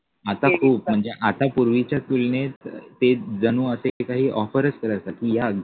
आता खूप म्हणजे आता पूर्वीच्या तुलनेत ते